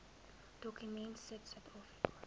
dokument sit suidafrika